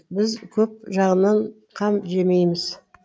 біз көп жағынан қам жемейміз